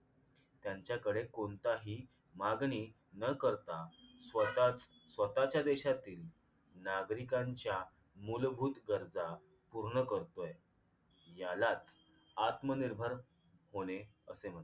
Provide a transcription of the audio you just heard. त्यांच्याकडे कोणताही मागणी न करता स्वतःच स्वतःच्या देशातील नागरिकांच्या मूलभूत गरजा पूर्ण करतोय यालाच आत्मनिर्भर होणे असे म्हणतात